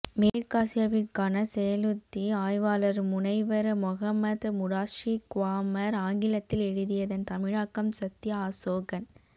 மேற்காசியாவிற்கான செயலுத்தி ஆய்வாளர் முனைவர் மொஹம்மத் முடாஸ்ஸிர் க்வாமர் ஆங்கிலத்தில் எழுதியதன் தமிழாக்கம் சத்யா அசோகன்